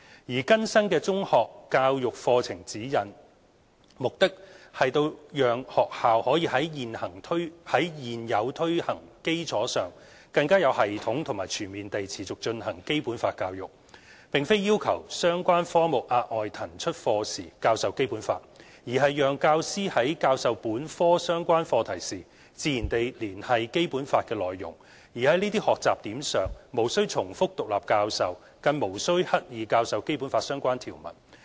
而更新的《中學教育課程指引》，目的是讓學校在現有推行基礎上更有系統和全面地持續進行《基本法》教育，並非要求相關科目額外騰出課時教授《基本法》，而是讓教師在教授本科相關課題時，自然地連繫《基本法》的內容，而在這些學習點上無須重複獨立教授，更無須刻意教授《基本法》相關條文。